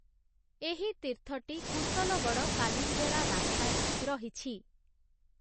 ଏହି ତୀର୍ଥଟି କୁଶଲଗଡ଼଼ କାଲିଞ୍ଜରା ରାସ୍ତାରେ ରହିଛି ।